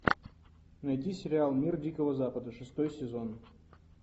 найди сериал мир дикого запада шестой сезон